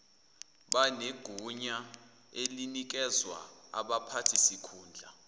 banegunya elinikezwa abaphathisikhundla